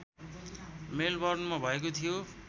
मेलबर्नमा भएको थियो